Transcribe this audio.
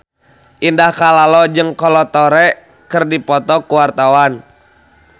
Indah Kalalo jeung Kolo Taure keur dipoto ku wartawan